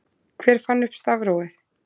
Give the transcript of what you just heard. Hver fann upp stafrófið?